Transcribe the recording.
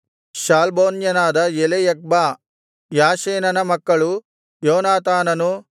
ಶಾಲ್ಬೋನ್ಯನಾದ ಎಲೆಯಖ್ಬಾ ಯಾಷೇನನ ಮಕ್ಕಳು ಯೋನಾತಾನನು